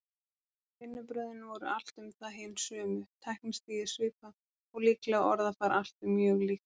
Vinnubrögðin voru allt um það hin sömu, tæknistigið svipað og líklega orðafar allt mjög líkt.